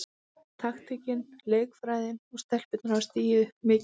Taktíkin, leikfræðin og stelpurnar hafa stigið mikið upp.